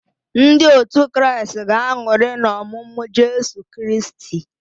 Ndị otu Kraịst ga-aṅụrị n'ọmụmụ Jesu Kristi.